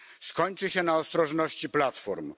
Skończy się na ostrożności platform.